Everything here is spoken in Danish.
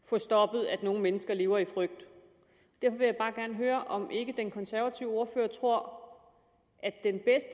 få stoppet at nogle mennesker lever i frygt derfor vil jeg bare gerne høre om ikke den konservative ordfører tror